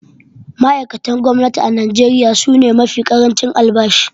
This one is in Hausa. Ma’aikatan gwamnati a Najeriya su ne mafi ƙarancin albashi.